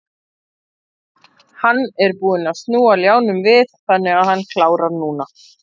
Hann er búinn að snúa ljánum við þannig að hann klárar núna.